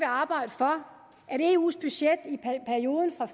arbejde for at eu’s budget i perioden fra